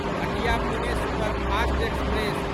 Hatia Pune superfast express